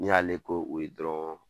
N' i y'ale ko o ye dɔrɔn.